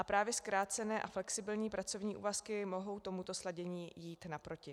A právě zkrácené a flexibilní pracovní úvazky mohou tomuto sladění jít naproti.